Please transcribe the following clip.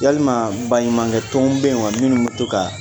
Yalima baɲumankɛ tɔnw bɛ yen wa minnu bɛ tou kan